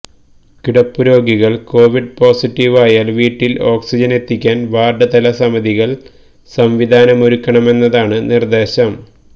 കിടപ്പുരോഗികൾ Covid പോസിറ്റീവായാൽ വീട്ടിൽ ഓക്സിജൻ എത്തിക്കാൻ വാർഡ് തല സമിതികൾ സംവിധാനമൊരുക്കണമെന്നതാണ് നിർദ്ദേശം